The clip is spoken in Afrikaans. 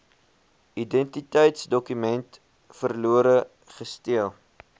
identiteitsdokument verlore gesteel